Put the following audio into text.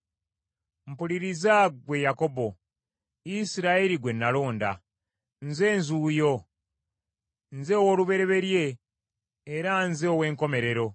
“Mpuliriza ggwe Yakobo. Isirayiri gwe nalonda. Nze Nzuuyo. Nze ow’olubereberye era nze ow’enkomerero.